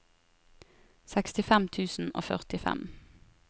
sekstifem tusen og førtifem